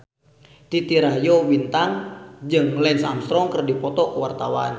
Titi Rajo Bintang jeung Lance Armstrong keur dipoto ku wartawan